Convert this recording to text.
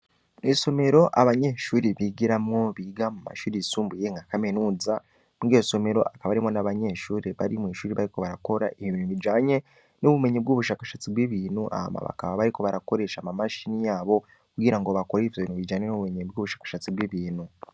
Mw'isomero abanyeshuri bigiramwo biga mu mashiri isumbuye nkakamenuza mwigesomero akaba arimwo n'abanyeshuri bari mw'ishuri bariko barakora ibibintu bijanye n'ubumenyi bw'ubushakashatsi bw'ibintu ama bakaba bariko barakoresha amamashini yabo kugira ngo bakora ivyo bintu bijane n'ubumenyenyi bw'ubushakashatsi bw'ibintu.